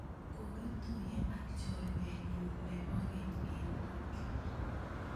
kokituiye ak chorwenyu nebo keny eng Toyko